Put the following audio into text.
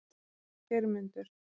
Geirmundur